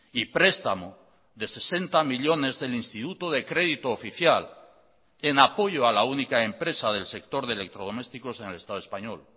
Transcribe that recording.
y prestamo de sesenta millónes del instituto de crédito oficial en apoyo a la única empresa del sector de electrodomésticos en el estado español